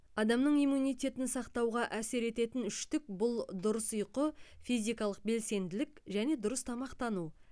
адамның иммунитетін сақтауға әсер ететін үштік бұл дұрыс ұйқы физикалық белсенділік және дұрыс тамақтану